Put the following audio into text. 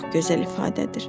Çox gözəl ifadədir.